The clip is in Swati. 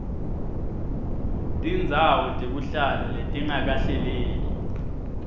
tindzawo tekuhlala letingakahleleki